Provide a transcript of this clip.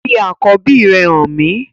Fi akọbi rẹ han mi!